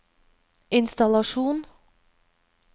innstallasjon